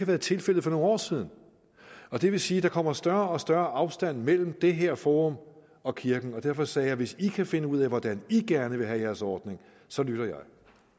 været tilfældet for nogle år siden det vil sige at der kommer større og større afstand mellem det her forum og kirken og derfor sagde jeg hvis i kan finde ud af hvordan i gerne vil have jeres ordning så lytter